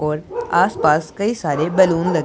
और आस पास कई सारे बलून ल--